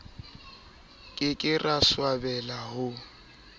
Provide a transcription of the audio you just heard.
ke ke ra swabela ho